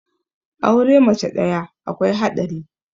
aure mace ɗaya akwai haɗari